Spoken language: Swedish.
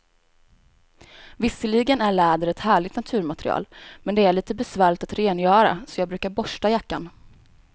Visserligen är läder ett härligt naturmaterial, men det är lite besvärligt att rengöra, så jag brukar borsta jackan.